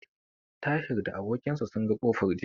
Tahir da abokin sa sun ga kofar jiya.